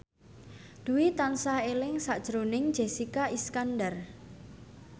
Dwi tansah eling sakjroning Jessica Iskandar